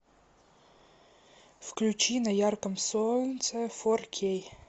включи на ярком солнце фор кей